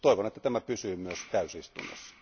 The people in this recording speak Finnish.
Toivon, että tämä pysyy myös täysistunnossa.